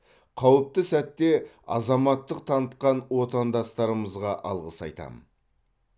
қауіпті сәтте азаматтық танытқан отандастарымызға алғыс айтамын